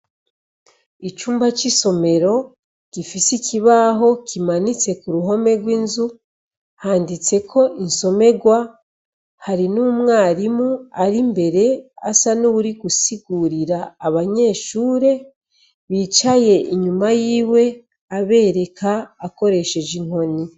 Icumba c’isomero gifise ikibaho kimanitse kuruhome rw’inzu handitseko insomerwa hari n’umwarimu ari imbere asa n’uwurigusigurira abanyeshure bicaye inyuma yiwe abereka akoresheje inkoni.